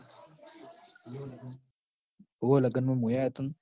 ઓવ લગનમ મુંય આયો તો ન